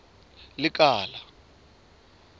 lekala